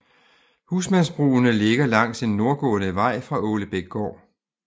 Husmandsbrugene ligger langs en nordgående vej fra Ålebækgård